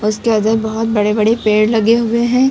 उसके बहुत बड़े बड़े पेड़ लगे हुए हैं।